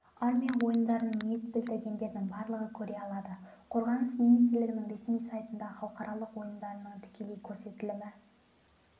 армия ойындарын ниет білдіргендердің барлығы көре алады қорғаныс министрлігінің ресми сайтында халықаралық ойындардың тікелей көрсетілімі